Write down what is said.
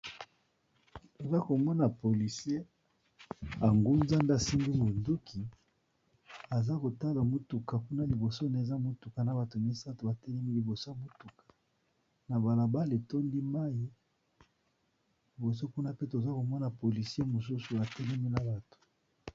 Toza komona policier angunzami asimbi monduki, aza kotala motuka kuna liboso naye eza motuka na bato misato ba telemi liboso motuka na bala bala etondi mayi, liboso kuna pe toza komona policier mosusu atelemi na bato.